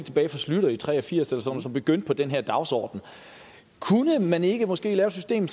nitten tre og firs eller sådan schlüter begyndte på den her dagsorden kunne man ikke måske lave et system